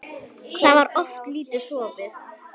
Þá var oft lítið sofið.